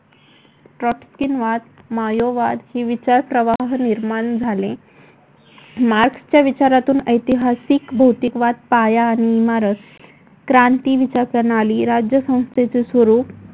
ट्रस्किनवाद, मायोवाद विचार प्रवाह निर्माण झाले. मार्क्सच्या विचारातून ऐतिहासिक भौतिकवाद पाया आणि इमारत क्रांती विचार प्रणाली राज्यसंस्थेचे स्वरूप